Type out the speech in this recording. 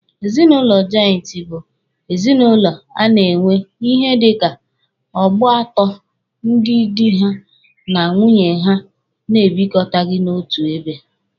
Ezinụlọ jọịntị bụ ezinụlọ a na-enwe ihe dika ọgbọ atọ ndị dị ha na nwunye ha na-ebikọta n'otu ebe.